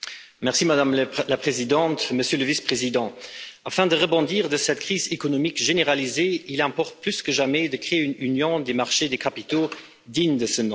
Madame la Présidente, Monsieur le Vice président, afin de pouvoir sortir de cette crise économique généralisée, il importe plus que jamais de créer une Union des marchés des capitaux digne de ce nom.